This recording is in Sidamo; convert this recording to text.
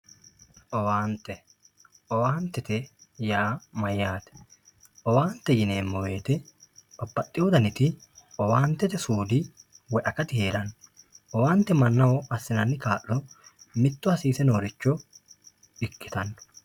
owaante owaantete yaa mayaate owaante yineemo woyiite babbadhiyo daniti owaantete suudi woyi akati heeranno owaante mannaho assinanni kaa'lo mitto hasiise nooricho ikkitanno